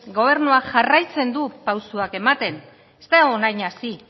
gobernuak jarraitzen du pausoak ematen ez da orain hasi